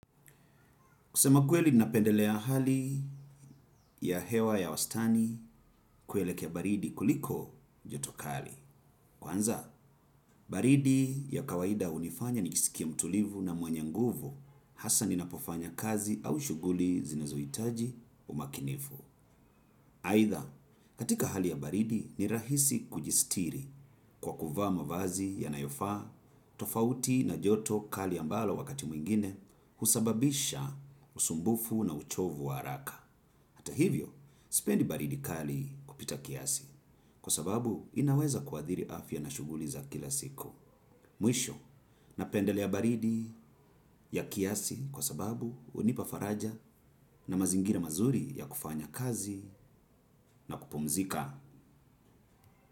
Kusema kweli napendelea hali ya hewa ya wastani kuelekea baridi kuliko joto kali. Kwanza, baridi ya kawaida hunifanya nijisikie mtulivu na mwenye nguvu hasa ninapofanya kazi au shughuli zinazohitaji umakinifu. Aidha, katika hali ya baridi ni rahisi kujistiri kwa kuvaa mavazi yanayofaa tofauti na joto kali ambalo wakati mwingine husababisha usumbufu na uchovu wa haraka. Ata hivyo, sipendi baridi kali kupita kiasi kwa sababu inaweza kuathiri afya na shughuli za kila siku. Mwisho, napendelea baridi ya kiasi kwa sababu hunipa faraja na mazingira mazuri ya kufanya kazi na kupumzika.